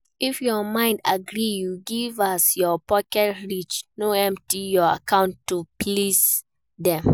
If your mind gree you give as your pocket reach no empty your account to please dem